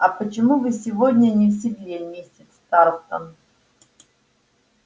а почему вы сегодня не в седле миссис тарлтон